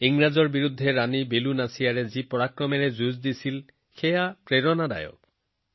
ইংৰাজৰ বিৰুদ্ধে সাহসেৰে যুঁজ দিয়া ৰাণী বেলু নাচিয়াৰ্জীয়ে দেখুওৱা বীৰত্বই আমাক অনুপ্ৰাণিত কৰে